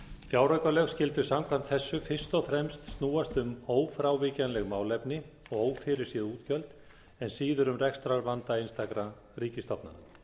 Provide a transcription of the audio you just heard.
fjáraukalög skyldu samkvæmt þessu fyrst og fremst snúast um ófrávíkjanleg málefni og ófyrirséð útgjöld en síður um rekstrarvanda einstakra ríkisstofnana